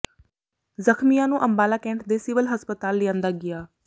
ਜ਼ਖ਼ਮੀਆਂ ਨੂੰ ਅੰਬਾਲਾ ਕੈਂਟ ਦੇ ਸਿਵਲ ਹਸਪਤਾਲ ਲਿਆਂਦਾ ਗਿਆ